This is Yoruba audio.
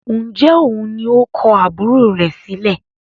ǹjẹ́ òun ni ó kọ àbúrò rẹ̀ sílẹ̀?